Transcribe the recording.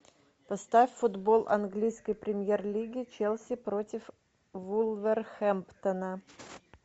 поставь футбол английской премьер лиги челси против вулверхэмптона